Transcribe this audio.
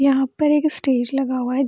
यहाँ पर एक स्टेज लगा हुआ है।